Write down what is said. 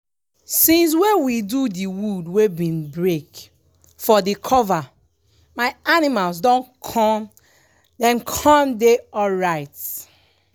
since wey we do the wood wey been break for the cover my animals dem con dem con dey alright.